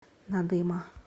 надыма